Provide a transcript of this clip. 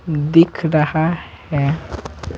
दिख रहा है।